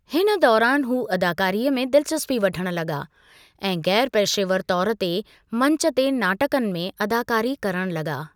हिन दौरानि हू अदाकारीअ में दिलचस्पी वठणु लगा॒ ऐं गै़रपेशेवरु तौरु ते मंचु ते नाटकनि में अदाकारी करणु लगा॒।